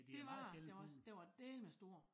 Dét var det da også den var dælme stor